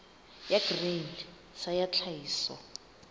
ya grain sa ya tlhahiso